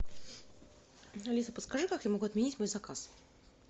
алиса подскажи как я могу отменить мой заказ